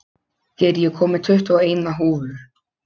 Geir, ég kom með tuttugu og eina húfur!